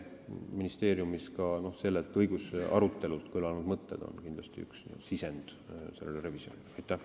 Sellel õigusarutelul kõlanud mõtted on kindlasti üks sisendeid sellele revisjonile.